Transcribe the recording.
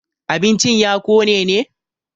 abincin ya Kone ne?